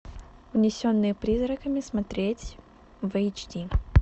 унесенные призраками смотреть в эйч ди